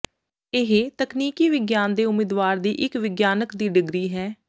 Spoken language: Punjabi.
ਇਹ ਤਕਨੀਕੀ ਵਿਗਿਆਨ ਦੇ ਉਮੀਦਵਾਰ ਦੀ ਇੱਕ ਵਿਗਿਆਨਕ ਦੀ ਡਿਗਰੀ ਹੈ